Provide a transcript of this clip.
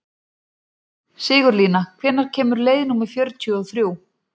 Sigurlína, hvenær kemur leið númer fjörutíu og þrjú?